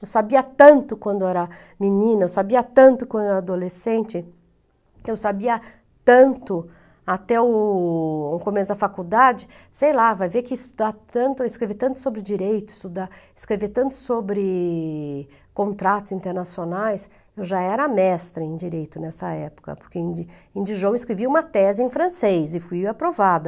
Eu sabia tanto quando era menina, eu sabia tanto quando era adolescente, eu sabia tanto até o o começo da faculdade, sei lá, vai ver que estudar tanto, escrever tanto sobre direitos, estudar, escrever tanto sobre contratos internacionais, eu já era mestra em direito nessa época, porque em em Dijon eu escrevi uma tese em francês e fui aprovada.